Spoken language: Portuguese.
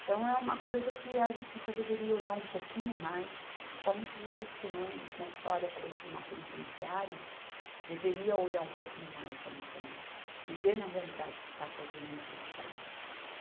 Então é uma coisa que a justiça deveria olhar um pouquinho mais, principalmente os direitos humanos, né, que só olha para dentro de uma penitenciária, deveria olhar um pouquinho mais ali também e ver na realidade o que está ocasionando aqueles gases.